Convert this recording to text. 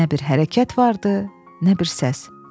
Nə bir hərəkət var idi, nə bir səs.